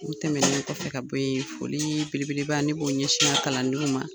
U tɛmɛnen kɔfɛ ka bo ye, folii belebeleba, ne b'o ɲɛsin ŋa kalandenw ma.